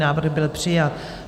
Návrh byl přijat.